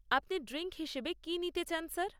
আপনি ড্রিঙ্ক হিসেবে কি নিতে চান স্যার?